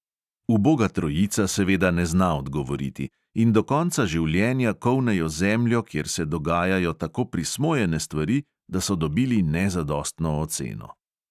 Uboga trojica seveda ne zna odgovoriti in do konca življenja kolnejo zemljo, kjer se dogajajo tako prismojene stvari, da so dobili nezadostno oceno.